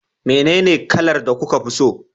menene kalar da kuka fi so?